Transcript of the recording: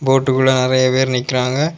போட்டுகுள்ள நெறைய பேர் நிக்கறாங்க.